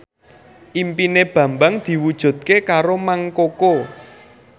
impine Bambang diwujudke karo Mang Koko